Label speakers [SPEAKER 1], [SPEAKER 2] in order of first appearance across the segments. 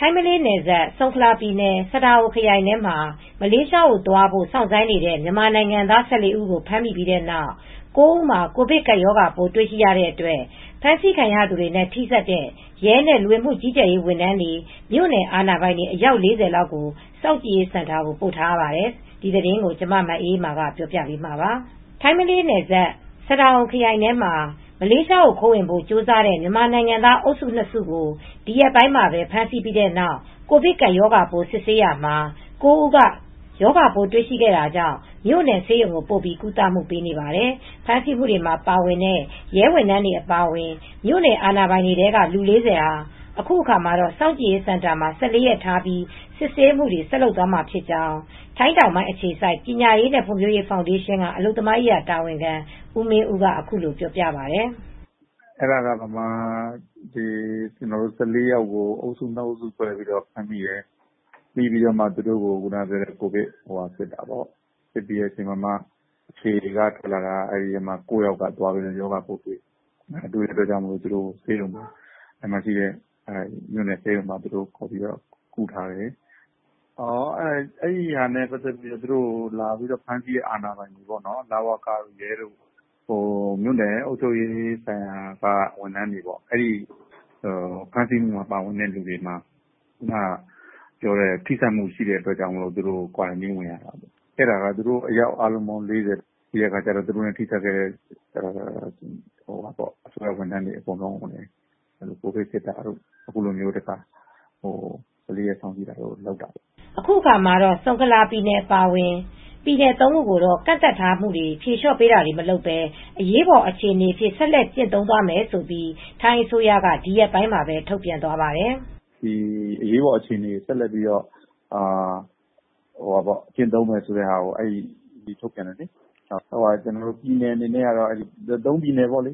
[SPEAKER 1] ထိုင်း-မလေးနယ်စပ် ဆုန်ခလာပြည်နယ် Sadao ခရိုင်ထဲမှာ မလေးရှားကိုသွားဖို့ စောင့်ဆိုင်းနေတဲ့ မြန်မာနိုင်ငံသား ၁၄ ဦးကို ဖမ်းမိပြီးတဲ့နောက် ၉ ဦးမှာ ကိုဗစ်ကပ်ရောဂါပိုး တွေ့ရှိတဲ့အတွက် ဖမ်းဆီးခံရသူတွေနဲ့ ထိစပ်တဲ့ ရဲနဲ့ လူဝင်မှုကြီးကြပ်ရေး ဝန်ထမ်းတွေ၊ မြို့နယ်အာဏာပိုင်တွေ အယောက် ၄၀ လောက် စောင့်ကြည့်ရေးစင်တာကို ပို့ထားရပါတယ်။ အပြည့်အစုံကို ထိုင်းအခြေစိုက် ဗွီအိုအေမြန်မာပိုင်း သတင်းထောက် မအေးအေးမာ တင်ပြပေးထားပါတယ်။ ထိုင်း-မလေးနယ်စပ် Sadao ခရိုင်ထဲမှာ မလေးရှားကို ခိုးဝင်ဖို့ ကြိုးစားတဲ့ မြန်မာနိုင်ငံသား အုပ်စု ၂ စုကို ဒီရက်ပိုင်းမှာပဲ ဖမ်းဆီးပြီးတဲ့နောက် ကိုဗစ်ကပ်ရောဂါပိုး စစ်ဆေးရာမှာ ၉ ဦးက ရောဂါပိုးတွေ့ရှိခဲ့တာကြောင့် မြို့နယ်ဆေးရုံကို ပို့ပြီး ကုသနေရပါတယ်။ ဖမ်းဆီးမှုတွေမှာ ပါဝင်တဲ့ ရဲဝန်ထမ်းတွေ အပါအဝင် မြို့နယ်အာဏာပိုင်တွေထဲက လူ ၄၀ ဟာ အခုအခါမှာ စောင့်ကြည့်ရေးစင်တာမှာ ၁၄ ရက်ထားပြီး စစ်ဆေးမှုတွေ ဆက်လုပ်သွားမှာဖြစ်ကြောင်း ထိုင်းတောင်ပိုင်းအခြေစိုက် ပညာရေးနဲ့ ဖွံ့ဖြိုးတိုးတက်ရေး ဖောင်ဒေးရှင်းက အလုပ်သမားရေးရာ တာဝန်ခံ ဦးမင်းဦးက အခုလိုပြောပါတယ်။
[SPEAKER 2] “အဲဒါက မြန်မာ ၁၄ ယောက်ကို အုပ်စု ၂ အုပ်စုခွဲပြီး ဖမ်းမိတယ်။ သူတို့ကို ကိုဗစ်စစ်တာပေါ့။ စစ်ပြီးချိန်မှာ အဲဒီထဲမှာ ၉ ယောက်က ရောဂါပိုးတွေ့တယ်။ မြို့နယ်ဆေးရုံမှာ ပို့ပြီး ကုထားတယ်။ အဲဒါနဲ့ပတ်သက်ပြီး သူတို့ကိုလာပြီး ဖမ်းဆီးတဲ့ အာဏာပိုင်တွေ၊ ရဲတွေ၊ လဝကတွေ၊ မြို့နယ်အုပ်ချုပ်ရေး အာဏာပိုင်တွေ၊ ဝန်ထမ်းတွေ၊ ဖမ်းဆီးမှုမှာပါတဲ့သူတွေမှာ ထိစပ်မှုရှိတဲ့အတွက် စောင့်ကြည့်စင်တာ ဝင်ရတယ်။ အားလုံးပေါင်း အယောက် ၄၀ ရှိတယ်။ သူတို့နဲ့ ထိစပ်တဲ့သူအားလုံး ကိုဗစ်စစ်ရတာ၊ စောင့်ကြည့်စင်တာမှာ ၁၄ ရက် စောင့်ကြည့်တာတို့ လုပ်တာပေါ့
[SPEAKER 1] ။” အခုအခါမှာတော့ ဆုန်ခလာပြည်နယ် အပါအဝင် ပြည်နယ် ၃ ခုကိုတော့ ကန့်သတ်မှုတွေ ဖြေလျှော့ပေးတာတွေ မလုပ်ဘဲ အရေးပေါ် အခြေအနေအဖြစ် ဆက်လက်ကျင့်သုံးသွားမယ်လို့လည်း ထိုင်းအစိုးရက ဒီရက်ပိုင်းမှာပဲ ထုတ်ပြန်သွားပါတယ်။
[SPEAKER 2] “အရေးပေါ်အခြေအနေကို ဆက်လက်ကျင့်သုံးမယ်လို့ ထုတ်ပြန်တယ်။ ၃ ပြည်နယ်ပေါ့၊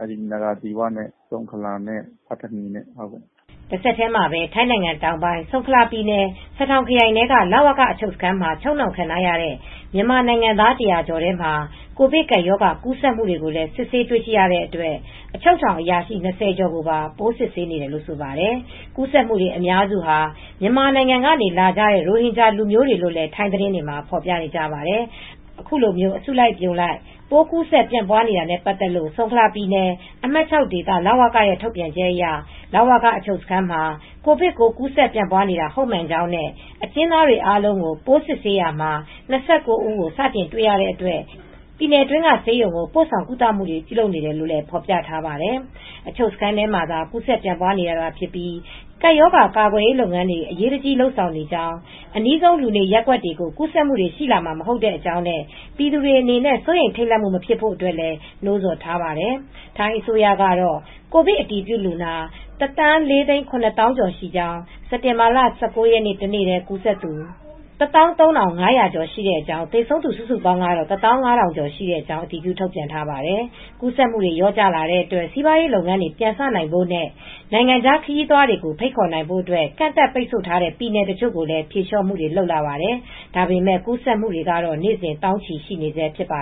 [SPEAKER 2] နာရာသီဝ၊ ဆုန်ခလာနဲ့ ပတ်သနီနဲ့ပေါ့။”
[SPEAKER 1] တဆက်တည်းမှာပဲ ထိုင်းနိုင်ငံတောင်ပိုင်း ဆုန်ခလာပြည်နယ် Sadao ခရိုင်ထဲက လဝက အချုပ်စခန်းမှာ ချုပ်နှောင်ထားခံနေရတဲ့ မြန်မာနိုင်ငံသား ၁၀၀ ကျော်ထဲမှာ ကိုဗစ်ကပ်ရောဂါ ကူးစက်မှုတွေကိုလည်း စစ်ဆေးတွေ့ရှိရတဲ့အတွက် အချုပ်ထောင်အရာရှိ ၂၀ ကျော်ကိုပါ ပိုးစစ်ဆေးနေတယ်လို့ ဆိုပါတယ်။ ကူးစက်နေသူ အများစုဟာ မြန်မာနိုင်ငံကနေလာကြတဲ့ ရိုဟင်ဂျာလူမျိုးတွေလို့လည်း ထိုင်းသတင်းတွေမှာ ဖော်ပြနေပါတယ်။ အခုလို အစုအပြုံလိုက် ပိုးကူးစက်ပြန့်ပွားနေတာနဲ့ ပတ်သက်ပြီး ဆုန်ခလာပြည်နယ် အမှတ် ၆ ဒေသ လဝကရဲ့ ထုတ်ပြန်ချက်အရ လဝကအချုပ်စခန်းမှာ ကိုဗစ်ပိုး ကူးစက်ပြန့်ပွားနေတာ ဟုတ်မှန်ကြောင်းနဲ့ အကျဉ်းသားတွေအားလုံးကို ပိုးစစ်ဆေးနေရာမှာ ၂၉ ဦး စတင်တွေ့ရှိရတဲ့အတွက် ပြည်နယ်အတွင်းက ဆေးရုံတွေဆီ ပို့ဆောင်ကုသမှှုတွေ ပြုလုပ်နေကြောင်း ဖော်ပြထားပါတယ်။ အချုပ်စခန်းထဲမှာသာ ကူးစက်ပြန့်ပွားနေတာသာဖြစ်ပြီး ကပ်ရောဂါကာကွယ်ရေး လုပ်ငန်းတွေကို အရေးတကြီး လုပ်ဆောင်နေကြောင်း၊ အနီးဆုံး လူနေရပ်ကွက်တွေကို ကူးစက်မှုရှိလာမှာ မဟုတ်တဲ့အကြောင်း၊ ပြည်သူတွေအနေနဲ့ စိုးရိမ်ထိတ်လန့်မှု မဖြစ်ရန် နှိုးဆော်ထားပါတယ်။ ထိုင်းအစိုးရကတော့ ကိုဗစ်အတည်ပြုလူနာ ၁,၄၇၀,၀၀၀ ကျော်ရှိကြောင်း စက်တင်ဘာလ ၁၉ ရက်နေ့ တနေ့တည်း ကူးစက်သူ ၁၃,၅၀၀ ကျော်ရှိကြောင်း သေဆုံးသူစုစုပေါင်း ၁၅,၀၀၀ ကျော်ရှိကြောင်း အတည်ပြု ထုတ်ပြန်ထားပါတယ်။ ကူးစက်မှုတွေ လျော့ကျလာတဲ့အတွက် စီပွားရေးလုပ်ငန်းတွေ ပြန်လည်စတင်နိုင်ဖို့နဲ့ နိုင်ငံခြားခရီးသွားတွေကို ဖိတ်ခေါ်နိုင်ဖို့ ကန့်သတ်ပိတ်ဆို့ထားတဲ့ ပြည်နယ်တချို့ကိုလည်း ဖြေလျော့ပေးမှုတွေ လုပ်လာပါတယ်။ ဒါပေမယ့် ကူးစက်မှုတွေကတော့ နေ့စဉ် သောင်းချီရှိနေဆဲ ဖြစ်ပါ